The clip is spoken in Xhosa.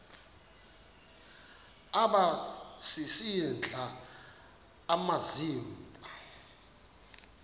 aba sisidl amazimba